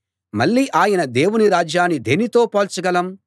మళ్ళీ ఆయన దేవుని రాజ్యాన్ని దేనితో పోల్చగలం